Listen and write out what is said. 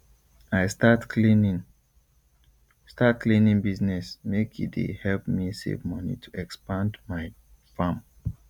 i start cleaning start cleaning business make e dey help me save money to expand my farm